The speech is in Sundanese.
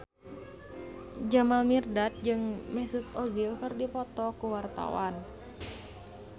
Jamal Mirdad jeung Mesut Ozil keur dipoto ku wartawan